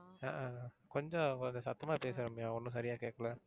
ஆஹ் கொஞ்சம் கொஞ்சம் சத்தமா பேசுங்க ரம்யா ஒண்ணும் சரியா கேட்கல.